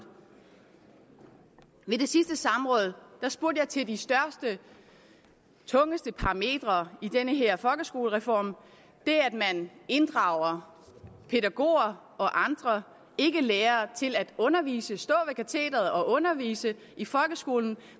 ved det sidste samråd spurgte jeg til de største tungeste parametre i den her folkeskolereform det at man inddrager pædagoger og andre ikkelærere til at undervise stå ved katederet og undervise i folkeskolen